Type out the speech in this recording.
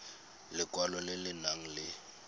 lekwalo le le nang le